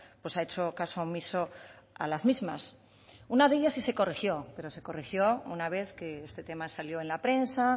pues ha hecho caso omiso a las mismas una de ellas sí se corrigió pero se corrigió una vez que este tema salió en la prensa